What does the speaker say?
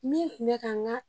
Min kun mɛ ka n ka